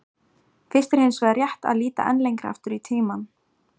Fyrst er hins vegar rétt að líta enn lengra aftur í tímann.